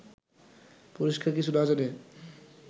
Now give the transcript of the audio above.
পরিষ্কার কিছু না জেনে